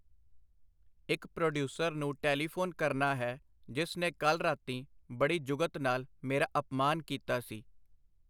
ਇਕ ਪ੍ਰੋਡੀਊਸਰ ਨੂੰ ਟੈਲੀਫੋਨ ਕਰਨਾ ਹੈ ਜਿਸ ਨੇ ਕੱਲ੍ਹ ਰਾਤੀਂ ਬੜੀ ਜੁਗਤ ਨਾਲ ਮੇਰਾ ਅਪਮਾਨ ਕੀਤਾ ਸੀ.